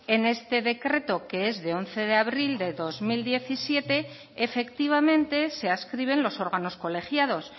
en este decreto que es de once de abril de dos mil diecisiete efectivamente se adscriben los órganos colegiados